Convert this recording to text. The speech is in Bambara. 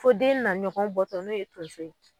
Fo den na ɲɔgɔn bɔtɔ ne ye tonso ye.